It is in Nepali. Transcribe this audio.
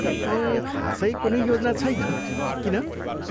उम्, खासै कुनै योजना छैन, किन?